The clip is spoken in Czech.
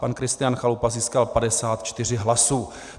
Pan Kristián Chalupa získal 54 hlasů.